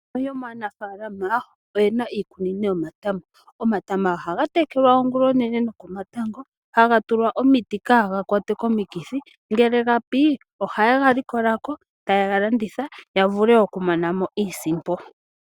Yamwe yomaanafaalama oye na iikunino yomatama. Omatama ohaga tekelwa ongulonene nokomatango, haga tulwa omiti kaaga kwatwe komikithi. Ngele gapi ohaye ga likola ko e taye ga landitha ya vule okumona mo iisimpo.